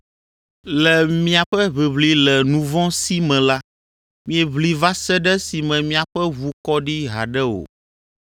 Le miaƒe ʋiʋli le nu vɔ̃ si me la, mieʋli va se ɖe esime miaƒe ʋu kɔ ɖi haɖe o.